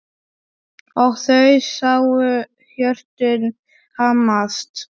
Og þau sáu hjörtun hamast.